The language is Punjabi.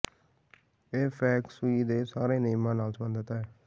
ਇਹ ਫੇਂਗ ਸ਼ੂਈ ਦੇ ਸਾਰੇ ਨਿਯਮਾਂ ਨਾਲ ਸੰਬੰਧਿਤ ਹੈ